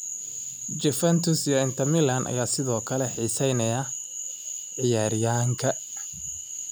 Juventus iyo Inter Milan ayaa sidoo kale xiiseynaya ciyaaryahanka.